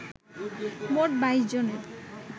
মোট ২২ জনের